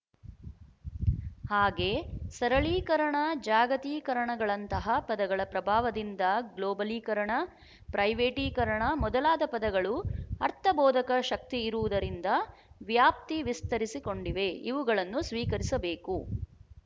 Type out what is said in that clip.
ಹಾಗೆ ಸರಳೀಕರಣ ಜಾಗತೀಕರಣಗಳಂತಹ ಪದಗಳ ಪ್ರಭಾವದಿಂದ ಗ್ಲೋಬಲೀಕರಣ ಪ್ರೈವೇಟೀಕರಣ ಮೊದಲಾದ ಪದಗಳು ಅರ್ಥಬೋಧಕ ಶಕ್ತಿ ಇರುವುದರಿಂದ ವ್ಯಾಪ್ತಿ ವಿಸ್ತರಿಸಿಕೊಂಡಿವೆ ಇವುಗಳನ್ನು ಸ್ವೀಕರಿಸಬೇಕು